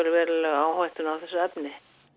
verulega áhættuna á þessu efni